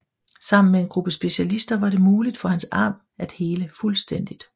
Sammen med en gruppe specialister var det muligt for hans arm at hele fuldstændigt